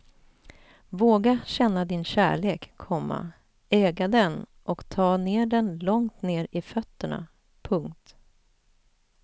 Våga känna din kärlek, komma äga den och ta ner den långt ner i fötterna. punkt